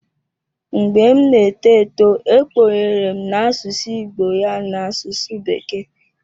Mgbe m na-eto eto e kpughere m na asụsụ Igbo ya n'asụsụ bekee.